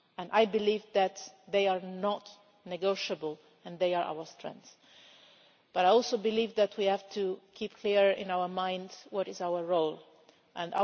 I believe that they are not negotiable and they are our strengths, but I also believe that we have to keep clear in our minds what our role is.